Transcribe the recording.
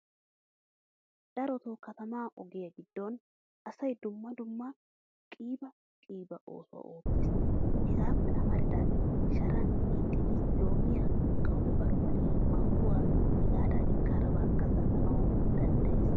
Darotto kataman ogiya giddon asay dumma dumma qiiba qiiba oosuwaa oottees. Hagappe amaridagee sharan hiixidi loomiyaa, qawu'e barbbariya, mangguwaa hegadankka harbakka zal'anawu danddayees.